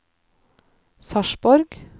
Sarpsborg